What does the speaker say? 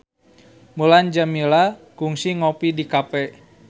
Mulan Jameela kungsi ngopi di cafe